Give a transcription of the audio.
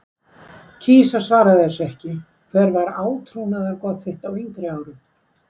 kýs að svara þessu ekki Hver var átrúnaðargoð þitt á yngri árum?